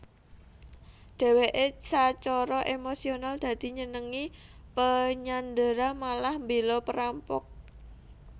Deweke sacara emosional dadi nyenengi penyandera malah mbela perampok